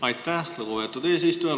Aitäh, lugupeetud eesistuja!